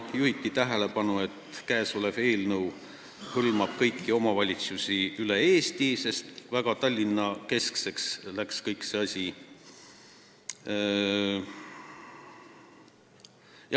Juhiti tähelepanu, et eelnõu hõlmab kõiki omavalitsusi üle Eesti, sest vahepeal läks kogu asi juba väga Tallinna-keskseks.